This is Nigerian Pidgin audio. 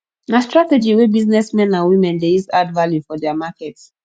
na strategy wey business men and women de use add value for their market